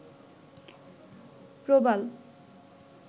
প্রবাল